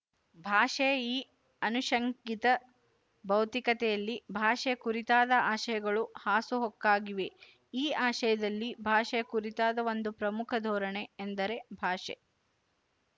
ಭಾಷೆಯ ಈ ಆನುಶಂಗಿತ ಭೌತಿಕತೆಯಲ್ಲಿ ಭಾಷೆಯ ಕುರಿತಾದ ಆಶಯಗಳು ಹಾಸುಹೊಕ್ಕಾಗಿವೆ ಈ ಆಶಯದಲ್ಲಿ ಭಾಷೆಯ ಕುರಿತಾದ ಒಂದು ಪ್ರಮುಖ ಧೋರಣೆ ಎಂದರೆ ಭಾಷೆ